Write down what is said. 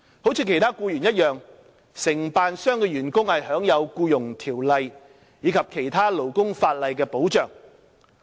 如其他僱員一樣，承辦商的員工享有《僱傭條例》及其他勞工法例的保障。